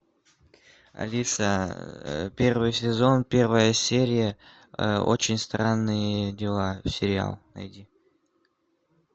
алиса первый сезон первая серия очень странные дела сериал найди